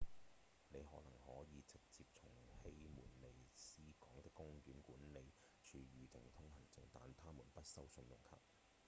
您可能可以直接從希門尼斯港的公園管理處預定通行證但他們不收信用卡